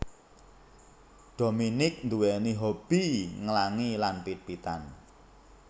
Dominique nduwèni hobby nglangi lan pit pitan